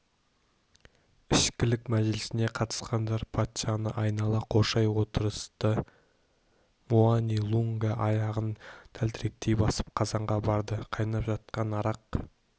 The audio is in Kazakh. ішкілік мәжілісіне қатысқандар патшаны айнала қоршай отырысты муани-лунга аяғын тәлтіректей басып қазанға барды қайнап жатқан арақ